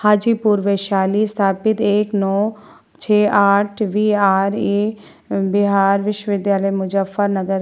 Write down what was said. हाजीपुर वैशाली स्थापित एक नो छे आठ वी.आर.ए. बिहार विश्व विद्यालय मुजफ्फर नगर।